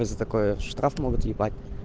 за такое штраф могут въебать